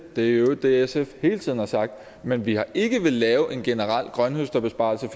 det er i øvrigt det sf hele tiden har sagt men vi har ikke villet lave en generel grønthøsterbesparelse